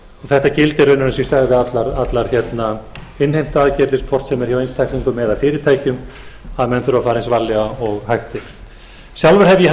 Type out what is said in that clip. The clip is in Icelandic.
þetta gildir raunar eins og ég sagði um allar innheimtuaðgerðir hvort sem er hjá einstaklingum eða fyrirtækjum að menn þurfa að fara eins varlega og hægt er sjálfur hef ég haft áhyggjur af